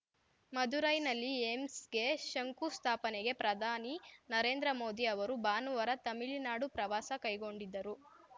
ಮದುರೈನಲ್ಲಿ ಏಮ್ಸ್‌ಗೆ ಶಂಕು ಸ್ಥಾಪನೆಗೆ ಪ್ರಧಾನಿ ನರೇಂದ್ರ ಮೋದಿ ಅವರು ಭಾನುವಾರ ತಮಿಳುನಾಡು ಪ್ರವಾಸ ಕೈಗೊಂಡಿದ್ದರು